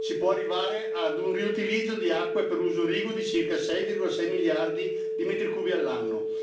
Si può arrivare ad un riutilizzo di acque per uso irriguo di circa 6,6 miliardi di metri cubi all'anno.